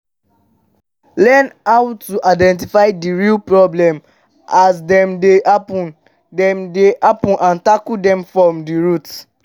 learn how to identify di real problem as dem dey happen dem dey happen and tackle dem from di root